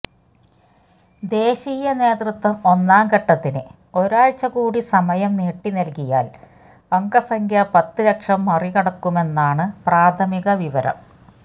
ദേശീയ നേതൃത്വം ഒന്നാംഘട്ടത്തിന് ഒരാഴ്ചകൂടി സമയം നീട്ടിനൽകിയാൽ അംഗസംഖ്യ പത്ത് ലക്ഷം മറികടക്കുമെന്നാണ് പ്രാഥമിക വിവരം